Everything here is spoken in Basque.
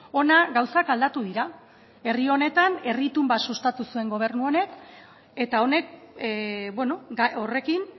hona gauzak aldatu dira herri honetan herri itun bat sustatu zuen gobernu honek eta honek horrekin